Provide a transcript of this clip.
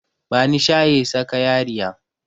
Bani shayi sakayariya